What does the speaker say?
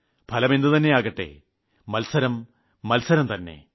ഫലം എന്തുതെന്നയുമാകട്ടെ മത്സരം മത്സരം തന്നെ